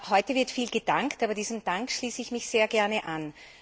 Heute wird viel gedankt, und diesem Dank schließe ich mich sehr gerne an.